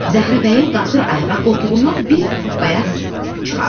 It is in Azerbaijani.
Zəhra bəyim qalxır ayağa, qoltuğundan bir bayas çıxardır.